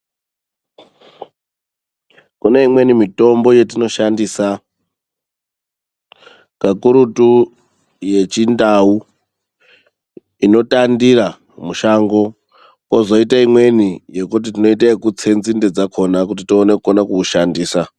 Kune imweni mitombo yetinoshandisa, kakurutu yechindau inotandira mushango, kozoite imweni yekuti tinoite yekutse nzinde dzakona kuti tione kukona kuushandisa.